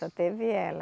Só teve ela.